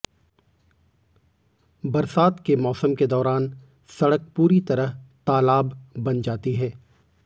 बरसात के मौसम के दौरान सड़क पूरी तरह तालाब बन जाती है